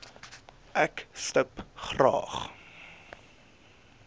ek stip graag